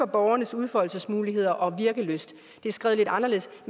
borgernes udfoldelsesmuligheder og virkelyst det er skrevet anderledes